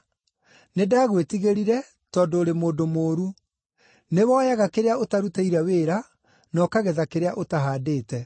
Nĩndagwĩtigĩrire, tondũ ũrĩ mũndũ mũũru. Nĩwoyaga kĩrĩa ũtarutĩire wĩra, na ũkagetha kĩrĩa ũtahandĩte.’